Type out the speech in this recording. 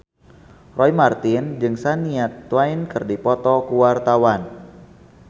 Roy Marten jeung Shania Twain keur dipoto ku wartawan